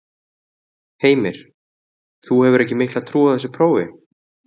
Heimir: Þú hefur ekki mikla trú á þessu prófi?